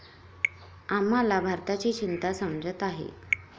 आम्हाला भारताची चिंता समजत आहे.